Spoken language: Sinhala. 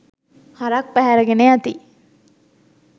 හරක් පැහැර ගෙන යති